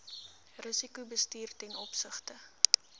risikobestuur ten opsigte